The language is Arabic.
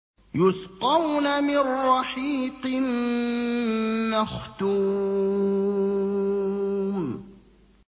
يُسْقَوْنَ مِن رَّحِيقٍ مَّخْتُومٍ